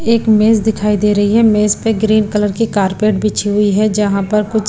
एक मेज दिखाई दे रही है मेज पे ग्रीन कलर की कारपेट बिछी हुई है जहां पर कुछ--